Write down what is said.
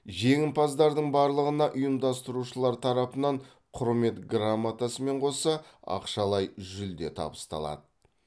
жеңімпаздардың барлығына ұйымдастырушылар тарапынан құрмет громатасымен қоса ақшалай жүлде табысталады